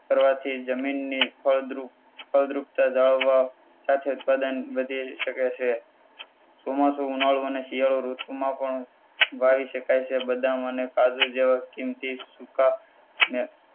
કરવાથી જમીનની ફળદ્રુપ ફળદ્રુપતા જાળવવા તથા વધી શકે છે. ચોમાસુ ઉનાળુ અને શિયાળુ ઋતુમાં પણ વાવી શકાય છે બદામ કાજુ જેવા કીમતી સુકામેવા